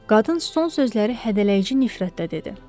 Qadın son sözləri hədələyici nifrətlə dedi.